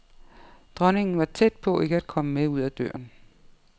Dronningen var tæt på ikke at komme med ud ad døren.